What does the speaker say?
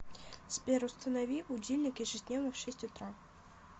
сбер установи будильник ежедневно в шесть утра